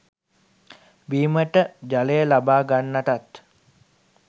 බීමට ජලය ලබා ගන්නටත්